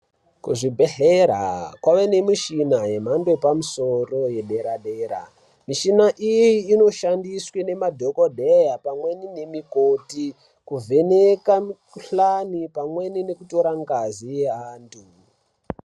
Kuzvibhedhlera kwave nemishina yemhando yepamusoro yedera-dera. Mishina iyi inoshandiswa iyi inoshandiswa nemadhogodheya pamwe nemikoti kuvheneka mikhuhane pamweni nekutore ngazi yaantu.